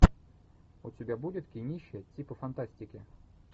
у тебя будет кинище типа фантастики